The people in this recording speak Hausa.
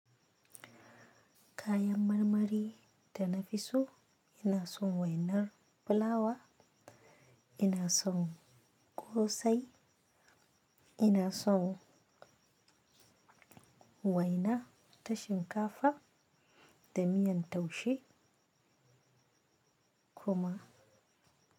Kayan marmari da nafi so ina son wainar fulawa, ina son ƙosai, ina son waina ta shinkafa da miyan taushe kuma.